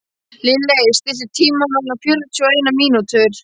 Lilley, stilltu tímamælinn á fjörutíu og eina mínútur.